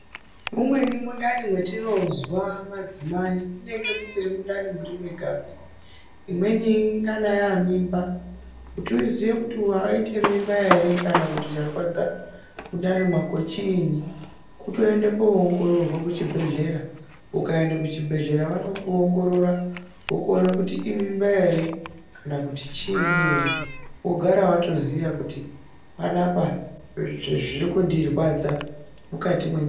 Umweni mundani wetinozwa madzimai munenge musiri mundani muri mwegapi, imweni inenge yaamimba. Kuti uziye kuti waita mumba here kana charwadza mundani mwako chiini, kutoenda koongororwa chibhedhlera, ukaenda kuchibhedhlera vanokuongorora vokuona kuti imimba ere kana kuti chiini ere. Wogara watoziya kuti panaapa zviri kundirwadza mukati menyama chiini.